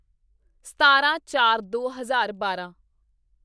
ਸਤਾਰਾਂਚਾਰਦੋ ਹਜ਼ਾਰ ਬਾਰਾਂ